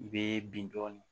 I bɛ bin dɔɔni